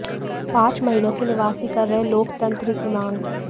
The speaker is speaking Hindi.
पांच महीनों से निवासी कर रहे लोकतंत्र की मांग